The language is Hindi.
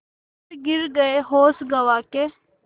फिर गिर गये होश गँवा के